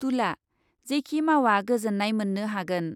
तुला, जेखि मावा गोजोन्नाय मोन्नो हागोन ।